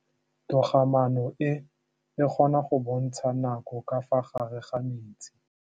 Toga-maanô e, e kgona go bontsha nakô ka fa gare ga metsi.